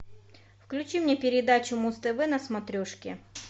включи мне передачу муз тв на смотрешке